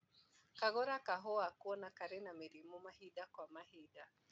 Kagũra kahũa kuona kari na mĩrimũ mahinda kwa mahinda